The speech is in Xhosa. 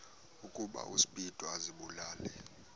ukuba uspido azibulale